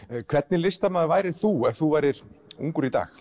hvernig listamaður værir þú ef þú værir ungur í dag